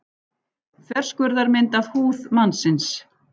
Þverskurðarmynd af húð mannsins.